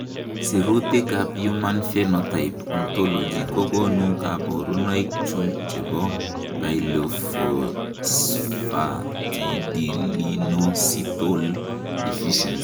Sirutikab Human Phenotype Ontology kokonu koborunoikchu chebo Glycosylphosphatidylinositol deficiency.